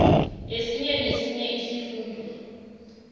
esinye nesinye isifunda